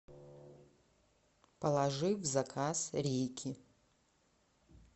положи в заказ рейки